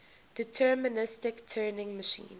deterministic turing machine